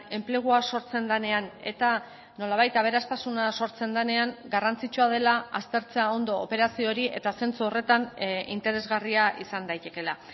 enplegua sortzen denean eta nolabait aberastasuna sortzen denean garrantzitsua dela aztertzea ondo operazio hori eta zentzu horretan interesgarria izan daitekela